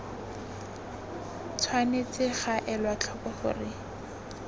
tshwanetse ga elwa tlhoko gore